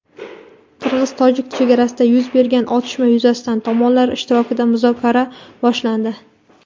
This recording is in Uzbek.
Qirg‘iz–tojik chegarasida yuz bergan otishma yuzasidan tomonlar ishtirokida muzokara boshlandi.